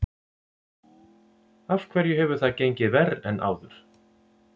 Af hverju hefur það gengið verr en áður?